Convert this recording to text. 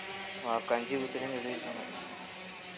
உனக்கு கஞ்சி ஊத்துறேன்னு சொல்லிருக்காங்க